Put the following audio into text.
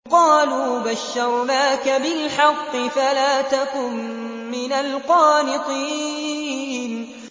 قَالُوا بَشَّرْنَاكَ بِالْحَقِّ فَلَا تَكُن مِّنَ الْقَانِطِينَ